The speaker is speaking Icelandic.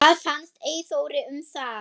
Hvað fannst Eyþóri um það?